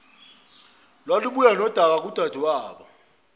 lwalubuya nodaka kudadewabo